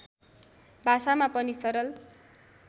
भाषामा पनि सरल